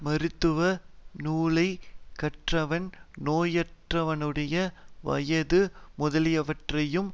மருத்துவ நூலை கற்றவன் நோயுற்றவனுடைய வயது முதலியவற்றையும்